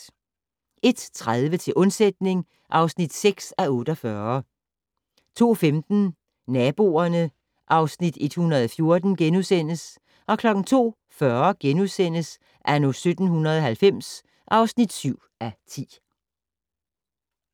01:30: Til undsætning (6:48) 02:15: Naboerne (Afs. 114)* 02:40: Anno 1790 (7:10)*